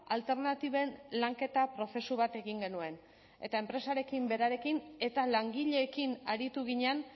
alternatiben lanketa prozesu bat egin genuen eta enpresarekin berarekin eta langileekin aritu ginen